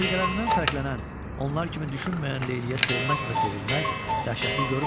Rəfiqələrindən fərqlənən, onlar kimi düşünməyən Leyliyə sevmək və sevilmək dəhşətli görünmür.